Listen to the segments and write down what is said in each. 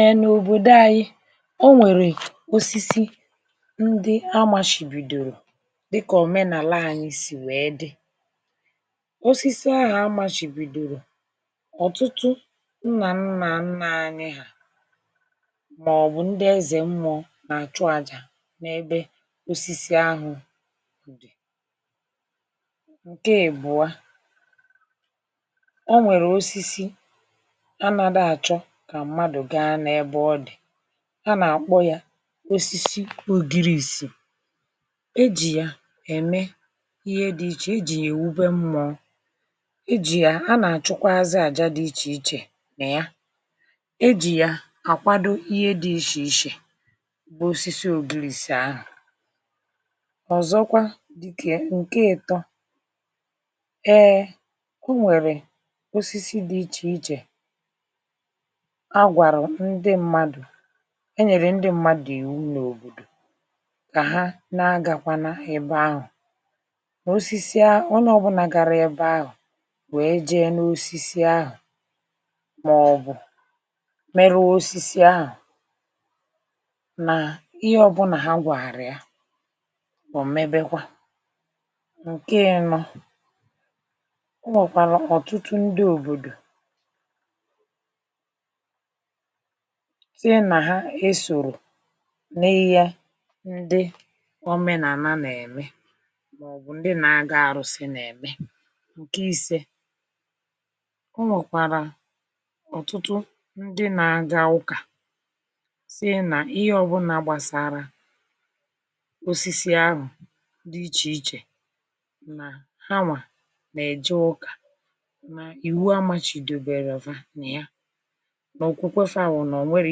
Ee n'obodo anyị, o nwere osisi ndị a machibidoro dịka omenaala anyị si wee dị. Osisis ahụ a machibidoro, ọtụtụ nna nna nna anyị maọbụ ndị eze mmụọ na-achụ àjà n'ebe osisi ahụ dị. Nke ị́bụa, o nwere osisi a nadị achọ ka mmadụ gaa n'ebe ọ dị. A na-akpọ ya osisis Ogirirsi. E ji ya eme ihe dị iche iche. E ji ya ewube mmụọ e ji ya a na-achụkwazị aja dị iche iche na ya. E ji ya akwado ihe dị iche iche, bụ osisi ogirisi ahụ. Ọzọkwa dị ka ya nke nke itọ, ee e nwere osisi dị iche iche a gwarụ ndị mmadụ e nyere ndị mmadụ iwu n'obodo ka ha na agakwana ebe ahụ. Osisi a onye ọbụna gara ebe ahụ wee jee n'osisi ahụ maọbụ merụọ osisi ahụ na ihe ọbụna ha gwaara ya, o mebekwa. Nke ịnọ, o nwekwala ọtụtụ ndị obodo, tinye na ha e soro n'ihe ndị omenana na-eme maọbụ ndị na-agọ arụsị na-eme. Nke ise, o nwekwara ọtụtụ ndị na-aga ụka sịị na ihe ọbụla gbasara osisi ahụ dị iche iche na hanwa na-eje ụka na iwu amachidoberọ fa nịya, na okwukwe fa wụ na o nwerọ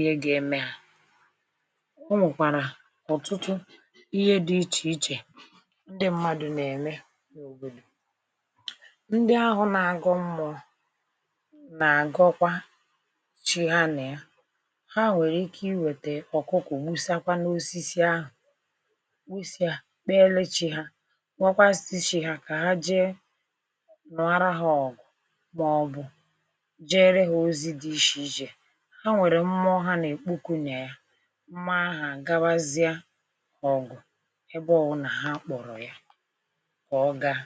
ihe ga-eme ha. O nwekwara ọtụtụ ihe dị iche iche ndị mmadụ na-eme n'obodo. Ndị ahụ na-agọ mmọọ na-agọkwa chi ha na ya. Ha nwere ike iwete ọkụkọ nwusakwa n'osisi ahụ nwusa ya kpeere chi ha rịọkwazị chi ha ka ha jee nụọrọ ha ọgụ maọbụ jeere ha ozi dị iche iche. Ha nwere mmọọ ha na-ekpoku na ya mmọọ ahụ a gawazie ọgụ ebe ọwụna ha kpọrọ ya ka ọ gaa.